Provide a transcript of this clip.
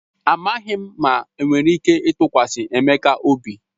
Amaghị m ma enwere ike ịtụkwasị Emeka obi..